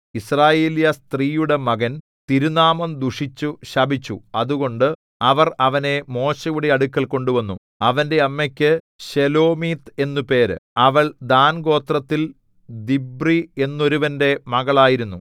യിസ്രായേല്യസ്ത്രീയുടെ മകൻ തിരുനാമം ദുഷിച്ചു ശപിച്ചു അതുകൊണ്ട് അവർ അവനെ മോശെയുടെ അടുക്കൽ കൊണ്ടുവന്നു അവന്റെ അമ്മയ്ക്ക് ശെലോമീത്ത് എന്നു പേര് അവൾ ദാൻഗോത്രത്തിൽ ദിബ്രി എന്നൊരുവന്റെ മകളായിരുന്നു